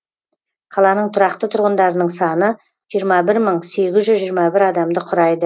қаланың тұрақты тұрғындарының саны жиырма бір мың сегіз жүз жиырма бір адамды құрайды